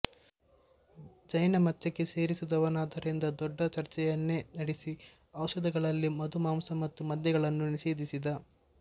ಜೈನಮತಕ್ಕೆ ಸೇರಿದವನಾದ್ದರಿಂದ ದೊಡ್ಡ ಚರ್ಚೆಯನ್ನೇ ನಡೆಸಿ ಔಷಧಗಳಲ್ಲಿ ಮಧು ಮಾಂಸ ಮತ್ತು ಮದ್ಯಗಳನ್ನು ನಿಷೇಧಿಸಿದ